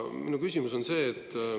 Minu küsimus on see.